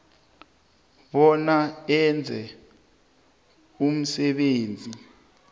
bona enze umsebenzi